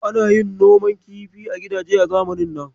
Ana yin noman kifi a gidaje a zamanin nan.